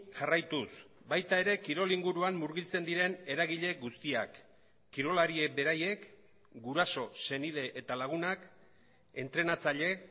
jarraituz baita ere kirol inguruan murgiltzen diren eragile guztiak kirolariek beraiek guraso senide eta lagunak entrenatzaile